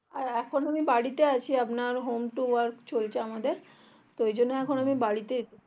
এখন আমি বাড়িতে আছি আপনার home to work চলছে আমাদের তো ওই জন্য এখন আমি বাড়িতেই